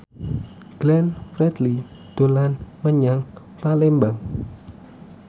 Glenn Fredly dolan menyang Palembang